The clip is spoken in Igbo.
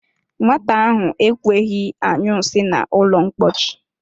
Nwata ahụ enweghị añyu nsị na ụlọ ḿkpóchí